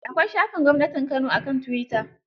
Akwai shafin gwamnatin Kano a kan tuwita.